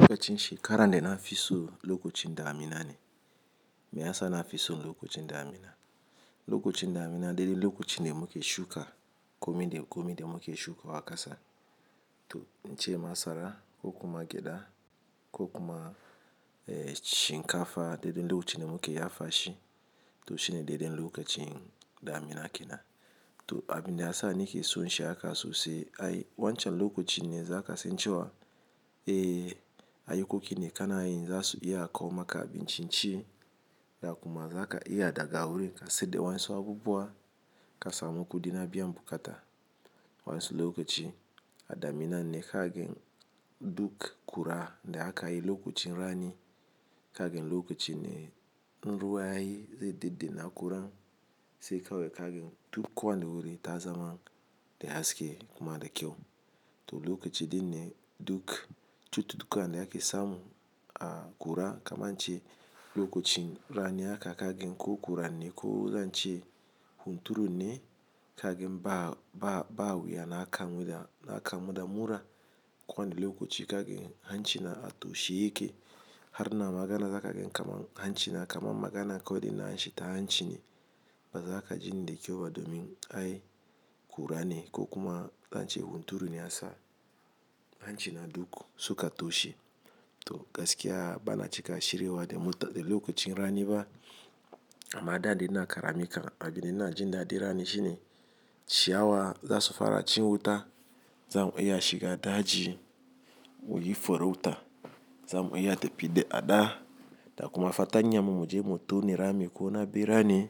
Lokacin shekara da na fi so lokacin damina ne. Me ya sa na fisu lokacin damina? Lokacin damina dele lokacin de muke shuka, kome de, kome de muke shuka wa kasa. To in ce masara, ko kuma gyada, ko kuma, eh, shinkafa dele lokacin de muke yafa shi. To shine daidai lokacin damina kenan to abin da ya sa ni ke so in shi haka sosai, ai wancan lokacin ne za ka ce in ce wa, "Eh, ayi kukune kana yin za su iya a kawo maka abinci ci." Da kuma za ka iya a ɗaga wurin ka siyadda wayansu abubuwa ka samu kudi na biyan bukata. Wayansu lokaci, a da Amina ne kagen duk kura de aka yi lokacin rani, kagen lokacin ne, nruwa ai zai dide na akura sai kawai kagen duk kwan da wuri ta zama de haske kuma da kyau. To lokacin din ne duk cututtukan de ake samu a gura, kamar in ce lokacin rani aka kagen ko kura ne ko zan ce hunturu ne kagen ba, ba, ba wuya na a kamu da, na a kamu da mura. Kwan da lokacin kagen hanci na a toshe yake. Har na magana za kagen kama hanci na kama magana ko delin an shi ta hanci ne. Ba za ka ji ni da kyau ba domin ai kura ne ko kuma zan ce hunturu ne ya sa hanci na duk suka toshe. To gaskiya bana cika shirewa de lokacin rani ba. Amma da de ina karami kan abin delin na ji na dai rani shi ne, ciyawa za su fara ci wuta, za mu iya a shiga daji muyi farauta, za mu iya ta fi de a da. Da kuma fatanyammu mu je mu tone rami ko na birai ni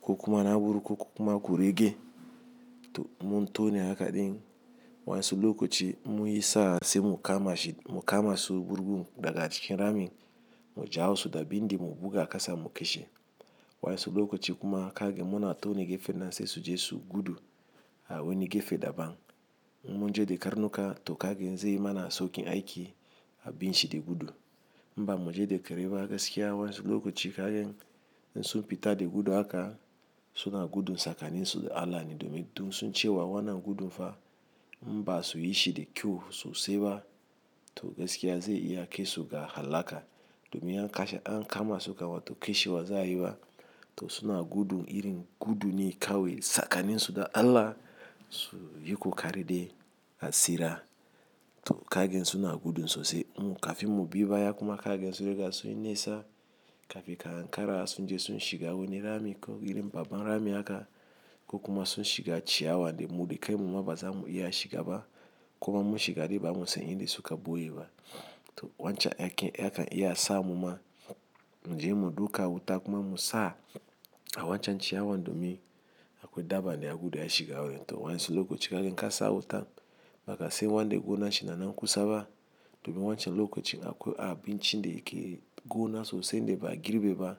ko kuma na burgu ko kuma kurege. To in mun tone haka din wa'ansu lokaci in munyi sa'a sai mu kama shi mu kamasu burgun daga cikin ramin mu jawo su da bindi mu buga a kasa mu kashe wa'ansu lokacin kuma kagan mu na tone gefen nan sai su je su gudu a wani gefe daban. In mun je de karnuka to kagen zai mana saukin aiki a binshi de gudu. In bamu je da kare ba gaskiya wayan su lokaci kagan in sun fita de gudu haka su na gudun tsakanin su de Allah ne domin sun san cewa wannan gudun fa in basuyi shi da kyau sosai ba to gaskiya zai iya kai su ga hallaka. Domin an kasha, an kama su kawai to kashe wa za a yi ba. To suna gudu irin gudu ne kawai tsakani su da Allah su yi kokari de a tsira. To kagen suna gudu sosai. Mu kafi mu bi ba ya kuma kagen su riga sun nesa kafi ka an kara sun je sun shiga wani rami ko irin babbar rami haka ko kuma sun shiga ciyawa de mudu kai mu ma ba za mu iya a shiga ba. Ko ba mu shiga de ba mu san inda suka ɓoye ba. To wancan ya ke, ya kan iya a sa mu ma mu je mu duka wuta kuma mu sa a wancan ciyawan domin akwai daban de a gudu a shiga wuri. To wansi lokacin kagen ka sa wuta, ba ka san wan de gona shi na nan kusa ba. Domin wancan lokacin akwai abinci de yake gona sosai de ba a girbe ba.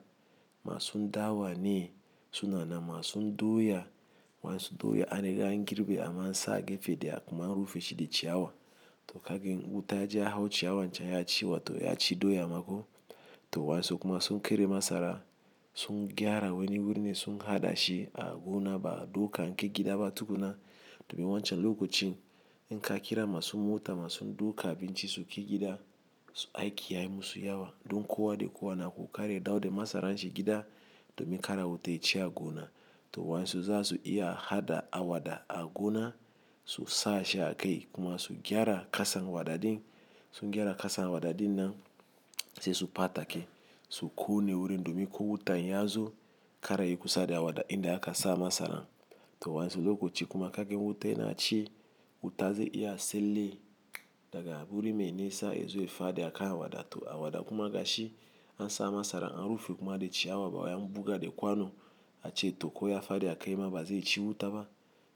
Masun dawa ne suna nan, masun doya wa'ansu doya an riga an girbe amma an sa gefe daya akuma an rufe shi da ciyawa. To kagen wuta ji ya hau ciyawan can ya ci wa to ya ci doya mako. To wansi kuma sun kere masara, sun gyara wani wurin ne sun haɗa shi a gona ba duka an ke gida ba tukuna. Domin wancan lokacin in ka kira masun mota masun duka abinci su ke gida, aiki ya yi musu yawa. Don kowa de kowa na ku karya da wude masaran shi gida domin kara wuta ya ci a gona. To wansi za su iya haɗa awada a gona su sa shi a kai kuma su gyara kasan wadadin. Su gyara kasan wadadin nan sai su ɓata ke su ƙone wuri domin ko wuta ya zo kara yi kusa da awada in da aka sa masaran. To wayansu lokaci kuma kaga wuta yana ci wuta ze iya tsalle daga wuri me nisa yazo ya fadi akan awada kuma gashi an sa masaran an rufe kuma de ciyawa bawai an buga de kwano a ce to ko ya fadi a kai ma ba zai ci wuta ba.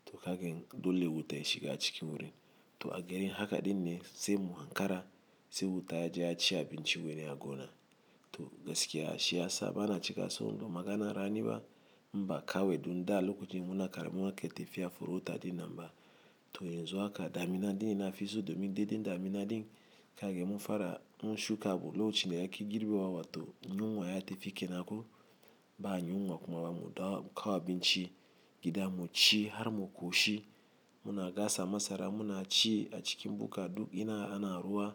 To kagen dole wuta ya shiga cikin wurin. To a gerin haka din ne sai mu an kara, sai wuta ya je ya ci abinci wani a gona. To gaskiya shi ya sa bana cika so. Domin magana rani ba mba ka wae dun da lokacin mu na karamin wa ke tafiya forauta din nan mba. To yanzu haka, da Amina din yana fisu domin delin da Amina din kagen mu fara in shuka abu lokacin de ake girbe wa wa to in yi unguwa ya tafi kenan ko ba anyi unguwa kuma ba mu ɗauka wa abinci gida mu ci har mu ƙoshi. Muna gasa masara muna ci a cikin bukka duk ina ana ruwa.